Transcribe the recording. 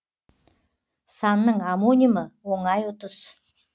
санның омонимі оңай ұтыс